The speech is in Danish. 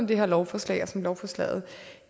det her lovforslag og som lovforslaget